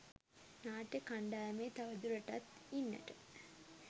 නාට්‍ය කණ්ඩායමේ තව දුරටත් ඉන්නට